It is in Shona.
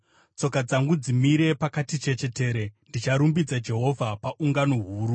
Tsoka dzangu dzimire pakati chechetere; ndicharumbidza Jehovha paungano huru.